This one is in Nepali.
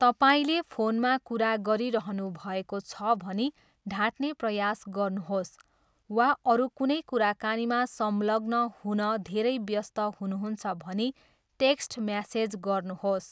तपाईँले फोनमा कुरा गरिरहनुभएको छ भनी ढाँट्ने प्रयास गर्नुहोस्, वा अरू कुनै कुराकानीमा संलग्न हुन धेरै व्यस्त हुनुहुन्छ भनी टेक्स्ट म्यासेज गर्नुहोस्।